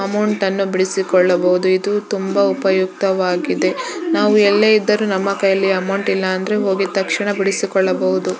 ಅಮೌಂಟನ್ನು ಬಿಡಿಸಿಕೊಳ್ಳಬಹುದು ತುಂಬಾ ಉಪಯುಕ್ತವಾಗಿದೆ ನಾವು ಎಲ್ಲೇ ಇದ್ದರೂ ನಮ್ಮ ಕೈಗೆ ಹೋಗಿದ್ ತಕ್ಷಣ ಬಿಡಿಸಿಕೊಳ್ಳಬಹುದು.